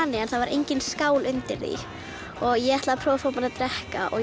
en engin skál undir því ég ætlaði að prófa að fá mér að drekka og